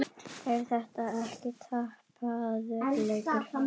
Er þetta ekki tapaður leikur?